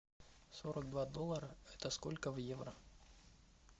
сорок два доллара это сколько в евро